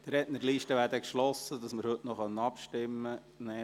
Die Rednerliste ist nun geschlossen, damit wir heute noch abstimmen können.